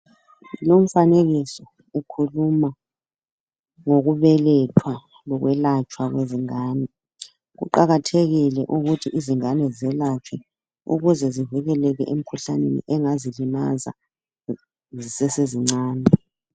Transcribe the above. Lumfanekiso ukhuluma ngokubelethwa lokwelatshwa kwabantwana kuqakathekile ukuthi abantwana belatshwe ukuze bavikeleke emikhuhlaneni engabalimaza besese bancane.